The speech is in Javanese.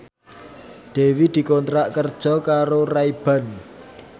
Dewi dikontrak kerja karo Ray Ban